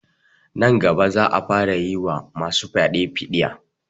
Nan gaba za a fara yi wa ma su fyaɗe fiɗiya